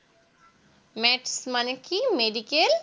Matc মানে কি Medical